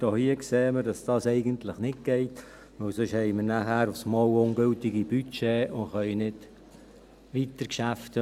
Hier sehen wir aber, dass dies eigentlich nicht geht, denn sonst haben wir nachher auf einmal ungültige Budgets und können nicht weiterarbeiten.